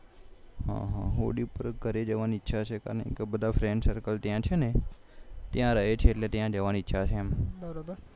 હોળી પર ઘરે જવાની ઈચ્છા છે બધા FRIENDCIRCLE ત્યાં છે ને ત્યાં રહે છે એટલે ત્યાં જવાની ઈચ્છા છે